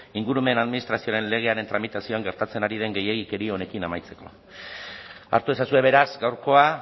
ingurumen administrazioaren legearen tramitazioan gertatzen ari den gehiegikeria honekin amaitzeko hartu ezazue beraz gaurkoa